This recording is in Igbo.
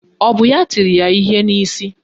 Ọ bụ ya tiri ya ihe n'isi?